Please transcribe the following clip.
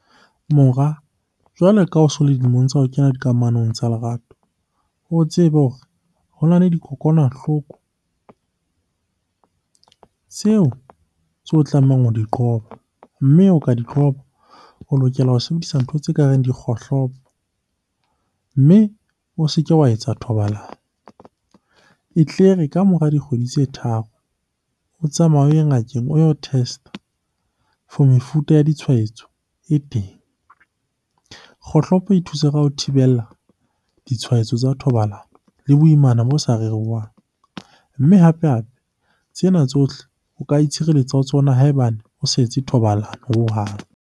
Mora, jwale ka o so le dilemong tsa ho kena dikamanong tsa lerato, o tsebe hore ho na le dikokwanahloko tseo o tlamehang ho di qoba. Mme ho ka di qoba, o lokela ho sebedisa ntho tse ka reng dikgohlopo mme o se ke wa etsa thobalano. E tle re ka mora dikgwedi tse tharo o tsamaye o ye ngakeng o yo test-a for mefuta ya ditshwaetso e teng. Kgohlopo e thusa ka ho thibella ditshwaetso tsa thobalano le boimana bo sa rerwang. Mme hape-hape tsena tsohle o ka itshireletsa ho tsona ha ebane o sa etse thobalano hohang.